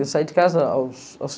Eu saí de casa aos, aos...